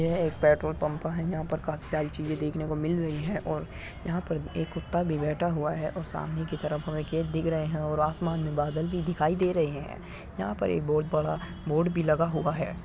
यह एक petrol pump है। यहाँ पर काफी सारी चीजें देखने को मिल रही हैं और यहाँ पर एक कुत्ता भी बैठा हुआ है और सामने की तरफ हमें खेत दिख रहे हैं और आसमान में बादल भी दिखाई दे रही है। यहाँ पर एक बोहोत बड़ा बोर्ड भी लगा हुआ है।